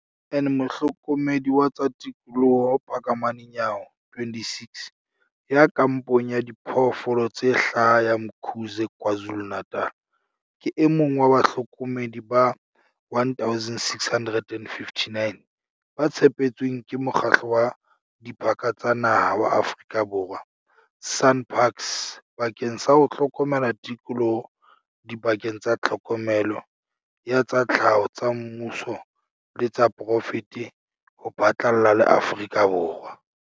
En Mohlokomedi wa tsa tikoloho Phakamani Nyawo, 26, ya kampong ya Diphoofolo tse Hlaha ya Umkhuze KwaZulu-Natal, ke e mong wa bahlokomedi ba 1 659 ba tshepetsweng ke Mokgatlo wa Diphaka tsa Naha wa Aforika Borwa, SANParks, bakeng sa ho hlokomela tikoloho dibakeng tsa tlhokomelo ya tsa tlhaho tsa mmuso le tsa poraefete ho phatlalla le Aforika Borwa.